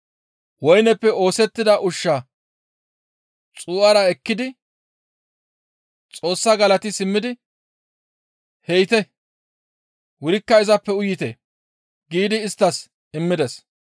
Woyneppe oosettida ushshaa xuu7ara ekkidi Xoossaa galati simmidi, «He7ite; wurikka izappe uyite» giidi isttas immides.